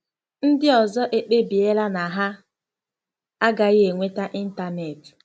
Ndị ọzọ ekpebiela na ha agaghị enweta ịntanetị.